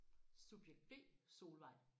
Subjekt B Solvej